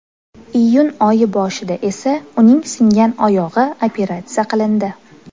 Iyun oyi boshida esa uning singan oyog‘i operatsiya qilindi .